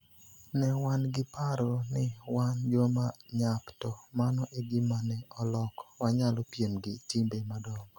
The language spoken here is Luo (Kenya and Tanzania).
Ne wan gi paro ni wan joma nyap to mano e gima ne oloko; wanyalo piem gi timbe madongo.